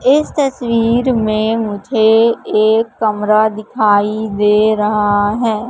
इस तस्वीर में मुझे एक कमरा दिखाई दे रहा है।